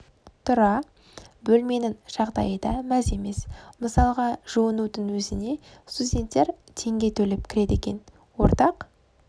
тұра бөлменің жағдайы да мәз емес мысалға жуынудың өзіне студенттер теңге төлеп кіреді екен ортақ